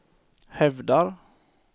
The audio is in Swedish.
hävdar